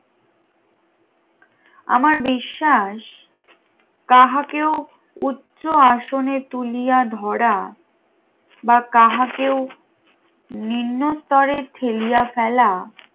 আমার বিশ্বাস তাহাকেও উচ্চ আসনে তুলিয়া ধরা বা কাহাকেও নিম্নস্তরে ফেলিয়া ফেলা